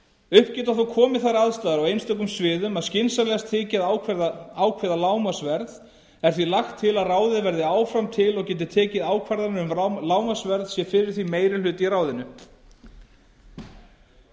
upp geta þó komið þær aðstæður á einstökum sviðum að skynsamlegt þyki að ákveða lágmarksverð er því lagt til að ráðið verði áfram til og geti tekið ákvarðanir um lágmarksverð sé fyrir því meiri hluti í ráðinu